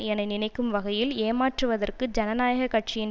என நினைக்கும் வகையில் ஏமாற்றுவதற்கு ஜனநாயக கட்சியின்